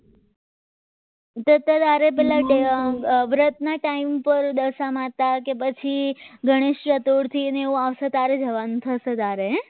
તો અત્યારે હારે પહેલા વ્રતના ટાઈમ પર દશા માતા કે પછી ગણેશ ચતુર્થી એ આવશે ત્યારે જવાનું થશે તારે હે